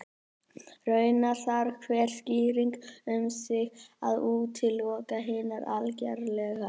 Raunar þarf hver skýring um sig ekki að útiloka hinar algerlega.